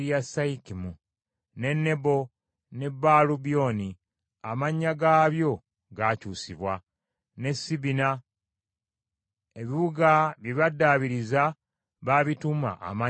ne Nebo, ne Baalu Myoni (amannya gaabyo gaakyusibwa), ne Sibima. Ebibuga bye baddaabiriza baabituuma amannya malala.